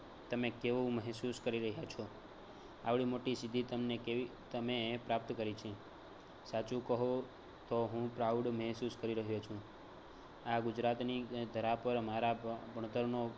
તમે કેવું મેહસૂસ કરી રહયા છો આવડી મોટી સિદ્ધિ તમને કેવી તમે પ્રાપ્ત કરી છે સાચું કહો તો હું proud મેહસૂસ કરી રહયો છું. આ ગુજરાતની ધરા પર અમારા ભણતરનો